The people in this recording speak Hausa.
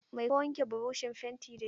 Mai ka wanke burushin fentin dashi?